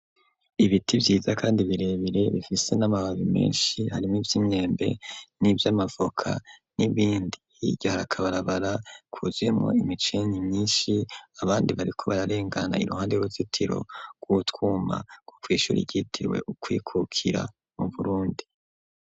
Ibiti vyiza kandi birebire bifise n'amababi meshi harimwo ivyimyembe n'ivyamavoka n'ibindi hirya hari akabarabara kuzuyemo imisenyi myishi abandi bariko bararengana iruhande y'uruzitiro rw'utwuma rwo kw'ishura ryitiriwe ukwikukira mu Burundi